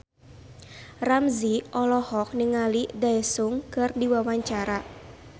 Ramzy olohok ningali Daesung keur diwawancara